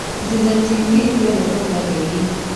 Citizen TV nĩyendetwo nĩ andũ aingĩ Kenya